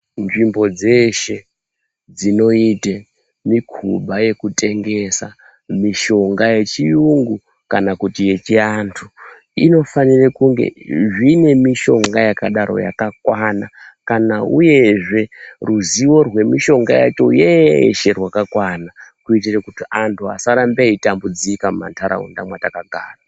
Nzvimbo dzese dzinoita mikhuba yekutengesa mishonga yechiyungu kana yechianthu inofanira kunge zvine mishonga yakadaro yakakwana kana uyezve ruzivo rwemishonga yacho yeshe rwakakwana kuitire kuti anthu akaramba eitambudzika kumantaraunda mwetakagara.